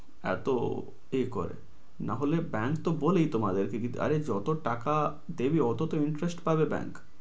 এতো কে করে? নাহলে bank তো বলেইতো তোমাদের কে কিছু আরে যত টাকা দেবে অত interest পাবে bank